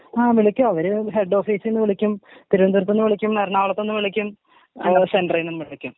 ആ വിളിക്കും അവര് ഹെഡ് ഓഫീസ്ന്ന് വിളിക്കും തിരുവനന്തപുരത്ത് നിന്നും വിളിക്കും എറണാകുളത്ത് നിന്നും വിളിക്കും ഉം സെന്ററീന്നും വിളിക്കും.